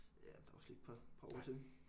Ja der er også lige et par par år til